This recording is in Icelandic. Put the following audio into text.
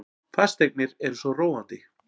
Fasteignir eru svo róandi.